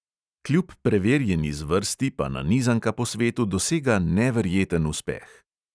Kljub preverjeni zvrsti pa nanizanka po svetu dosega neverjeten uspeh.